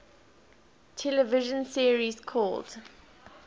television series called